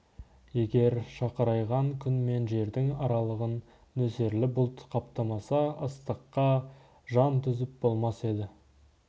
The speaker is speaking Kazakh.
егер шақырайған күн мен жердің аралығын нөсерлі бұлт қаптамаса ыстыққа жан төзіп болмас еді